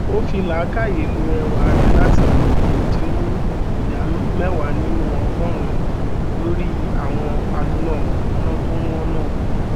ó fí làákàyè ló ẹwà rẹ latí bèrè ẹdínwó ìdá mẹwàá nínú ọgọrùnún lórí àwọn aloná mànàmáná tó wọn náà